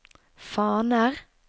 faner